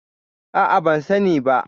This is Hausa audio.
A'a, ban sani ba.